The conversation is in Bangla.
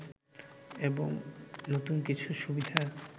এবং নতুন কিছু সুবিধা